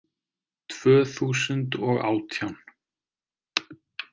Tvö þúsund og átján